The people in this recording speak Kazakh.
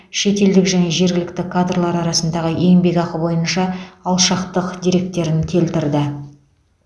шетелдік және жергілікті кадрлар арасындағы еңбекақы бойынша алшақтық дерегін келтірді